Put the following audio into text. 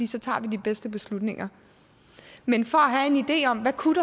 så tager vi de bedste beslutninger men for